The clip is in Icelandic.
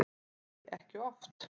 Nei, ekki oft.